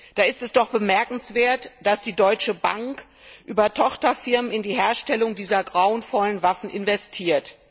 Da ist es doch bemerkenswert, dass die Deutsche Bank über Tochterfirmen in die Herstellung dieser grauenvollen Waffen investiert.